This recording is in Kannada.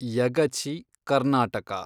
ಯಗಚಿ, ಕರ್ನಾಟಕ